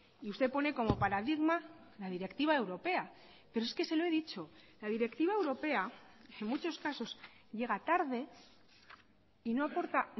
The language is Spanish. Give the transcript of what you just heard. y usted pone como paradigma la directiva europea pero es que se lo he dicho la directiva europea en muchos casos llega tarde y no aporta